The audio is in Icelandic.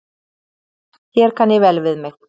Hér kann ég vel við mig.